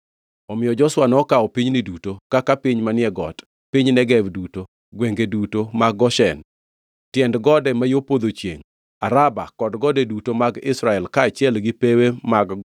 Omiyo Joshua nokawo pinyni duto; kaka, piny manie got, piny Negev duto, gwenge duto mag Goshen, tiend gode ma yo podho chiengʼ, Araba kod gode duto mag Israel kaachiel gi pewe mag